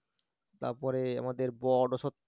তারপরে আমাদের বট অশ্বত্থ